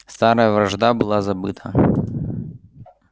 старая вражда была забыта